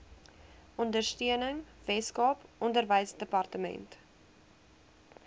ondersteuning weskaap onderwysdepartement